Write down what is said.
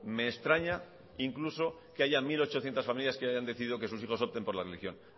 me extraña que incluso haya mil ochocientos familias que hayan decidido que sus hijos opten por la religión